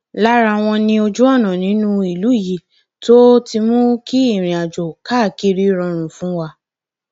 lára wọn ni ojúọnà nínú ìlú yìí tó ti mú kí ìrìnàjò káàkiri rọrùn fún wa